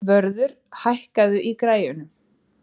Vörður, hækkaðu í græjunum.